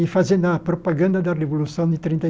e fazendo a propaganda da Revolução de trinta e.